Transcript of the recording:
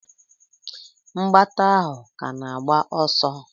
Mgbata ahụ ka na-agba ọsọ?